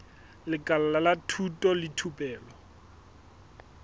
lekala la thuto le thupelo